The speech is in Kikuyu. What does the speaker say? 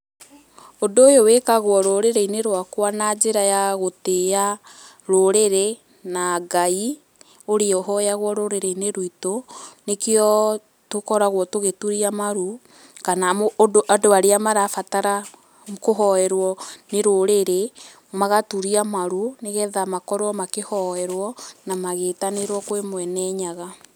Ũndũ ũyũ wĩkagwo rũrĩrĩ-inĩ rwakwa na njĩra ya gũtĩa rũrĩrĩ na Ngai, ũrĩa ũhoyagwo rũrĩrĩ-inĩ rwitũ, nĩkĩo tũkoragwo tũgĩturia maru kana andũ arĩa marabatara kũhoerwo nĩ rũrĩrĩ, magaturia maru nĩgetha makorwo makĩhoerwo na magĩtanĩrwo kwĩ mwene nyaga.